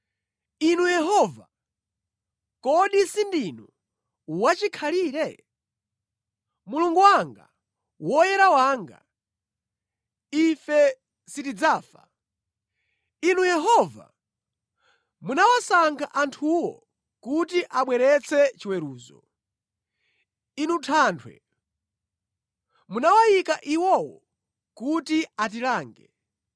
Inu Yehova, kodi sindinu wachikhalire? Mulungu wanga, Woyera wanga, ife sitidzafa. Inu Yehova, munawasankha anthuwo kuti abweretse chiweruzo; Inu Thanthwe, munawayika iwowo kuti atilange.